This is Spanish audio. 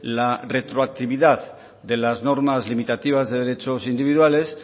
la retroactividad de las normas limitativas de derechos individuales